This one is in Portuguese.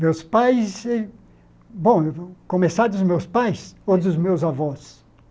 Meus pais... Bom, começar dos meus pais ou dos meus avós?